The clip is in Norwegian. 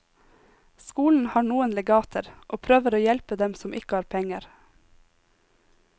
Skolen har noen legater og prøver å hjelpe dem som ikke har penger.